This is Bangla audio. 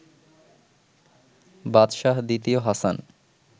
বাদশাহ দ্বিতীয় হাসান